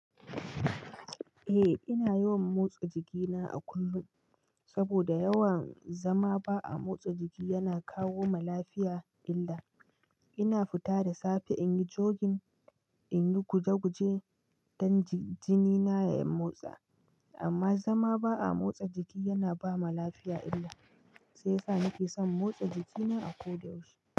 Eh ina yawan motsa jikina a kullum, saboda yawan zama ba a motsa jiki yana kawo ma lafiya illa. Ina fita da safe in yi jogin, in yi guje-guje don jini na ya motsa. Amma zama ba a motsa jiki yana ba ma lafiya illa, sai sa nake son motsa jikina a ko da yaushe.